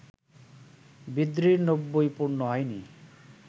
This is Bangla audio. ‘বিদ্রোহী’র নব্বই পূর্ণ হয়নি